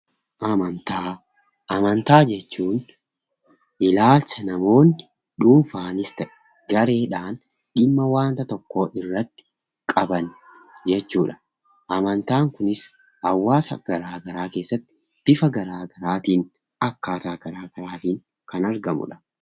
Amantaa Amantaa jechuun ilaalcha namoonni dhuunfaanis ta'e gareedhaan dhimma wanta tokkoo irratti qaban jechuu dha. Amantaan kunis hawaasa garaagaraa keessatti bifa garaagaraatiin, akkaataa garaagaraatiin kan aragamuu dha.